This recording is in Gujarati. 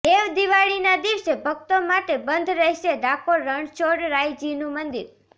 દેવ દિવાળીના દિવસે ભક્તો માટે બંધ રહેશે ડાકોર રણછોડરાયજીનું મંદિર